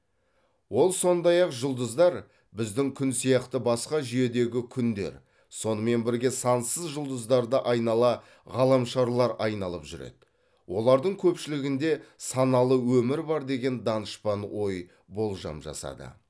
ол сондай ақ жұлдыздар біздің күн сияқты басқа жүйедегі күндер сонымен бірге сансыз жұлдыздарды айнала ғаламшарлар айналып жүреді олардың көпшілігінде саналы өмір бар деген данышпан ой болжам жасады